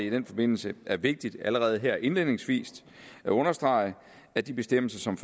i den forbindelse er vigtigt allerede her indledningsvis at understrege at de bestemmelser som